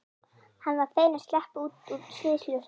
Hann var feginn að sleppa út úr sviðsljósinu.